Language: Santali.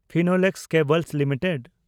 Finolex cables limited